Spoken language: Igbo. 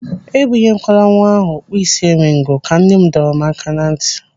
"Ebunye kwala nwa ahụ ọkpụị́sị́eringo!" Ka nne m dọrọ m aka na ntị.